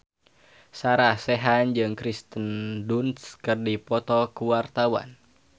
Sarah Sechan jeung Kirsten Dunst keur dipoto ku wartawan